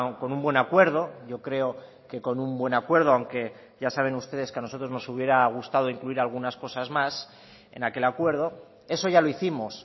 con un buen acuerdo yo creo que con un buen acuerdo aunque ya saben ustedes que a nosotros nos hubiera gustado incluir algunas cosas más en aquel acuerdo eso ya lo hicimos